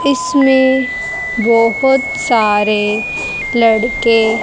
इसमें बहोत सारे लड़के--